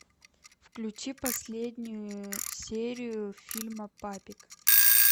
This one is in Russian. включи последнюю серию фильма папик